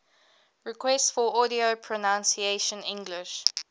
requests for audio pronunciation english